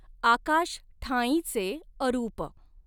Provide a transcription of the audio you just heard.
आकाश ठांईचे अरूप।